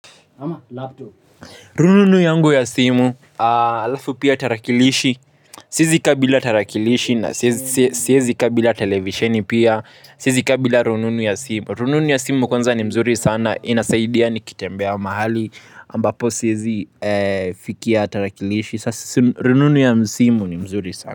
Ama laptop rununu yangu ya simu alafu pia tarakilishi siwezi kaa kabila tarakilishi na siwezi kaa kabila televisheni pia siwezi kaa kabila rununu ya simu rununu ya simu kwanza ni mzuri sana inasaidia ni kitembea mahali ambapo siwezi fikia tarakilishi sasa rununu ya simu ni mzuri sana.